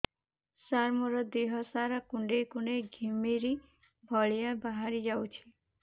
ସାର ମୋର ଦିହ ସାରା କୁଣ୍ଡେଇ କୁଣ୍ଡେଇ ଘିମିରି ଭଳିଆ ବାହାରି ଯାଉଛି